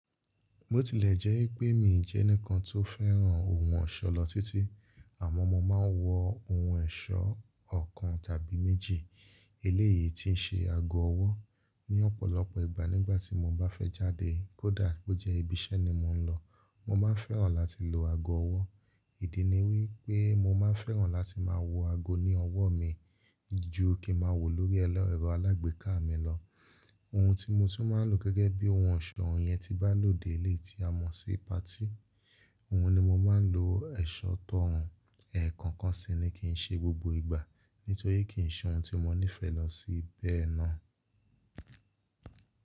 Bó tilẹ̀ jẹ́ pé mi o jẹ́ ẹnìkan tó fẹ́ràn ohun ọ̀ṣọ̀ lọ títí, àmọ́ mo máa ń wọ ohun ọ̀ṣọ́ ọ̀kan tàbí méjì. Eléyìí ti ń ṣe ago ọwọ́ ní ọ̀pọ̀lọpọ̀ ìgbà nígbà tí mo bá fẹ́ jáde, kódà bó jẹ́ ibi iṣẹ́ ni mò ń lọ. Mo máa fẹ́ràn láti lo ago ọwọ́, ìdí ni wípé mo máa fẹ́ràn láti máa wọ ago ní ọwọ́ mi ju kí ma wọ̀ lórí ẹlẹ́rọ alágbèéká mi lọ. Ohun tí mo tún máa ń lo gẹ́gẹ́ bí ohun ọ̀ṣọ́, òun yẹn tí bá lòde, eléyìí tí a mọ̀ sí patí, òhun ni mo máa ń lo eṣọ́ tọ́ ọrùn. Ẹ̀ẹ̀ko kan sì ni kí ń ṣe gbogbo ìgbà, nítorí kì í ṣe ohun tí mo nífẹ̀ẹ́ lọ sí bẹ́ẹ̀ náà.